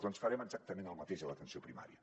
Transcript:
doncs farem exactament el mateix a l’atenció primària